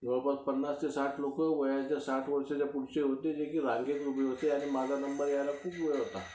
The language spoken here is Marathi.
जवळपास पन्नास ते साठ लोकं जे वयाच्या साठीच्या पलीकडचे होते जे रांगेत उभे होते, त्यामुळे माझा नंबर यायला खूप वेळ होता.